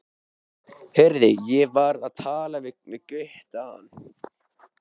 Heyrðu, ég var að tala við Gutta áðan.